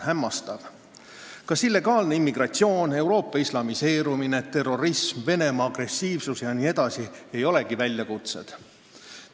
Kas illegaalne immigratsioon, Euroopa islamiseerumine, terrorism, Venemaa agressiivsus jne ei olegi väljakutsed?